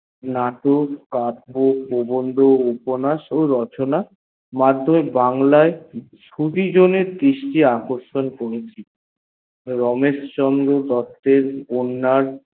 নাটক কাব্য প্রবন্দ উপন্যাস রচনা বাংলা এয় দৃষ্টি আকর্ষণ করিয়াছিলেন রমেশচন্দ্র দুত্তয়ের উপন্যাস